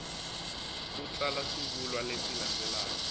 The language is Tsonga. u tsala swivulwa leswi landzelaka